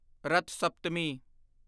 Rath Saptami